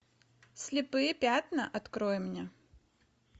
слепые пятна открой мне